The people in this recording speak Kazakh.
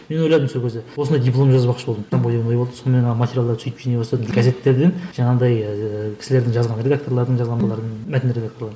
мен ойладым сол кезде осылай диплом жазбақшы болдым ой болды сонымен материалдарды сөйтіп жинай бастадым газеттерден жаңағындай ыыы кісілердің жазған редакторлардың жазғандарын мәтін редакторларын